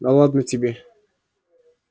да ладно тебе